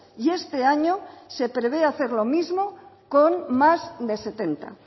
y este año se prevé hacer lo mismo con más de setenta